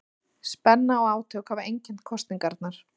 Spenna og átök hafa einkennt kosningarnar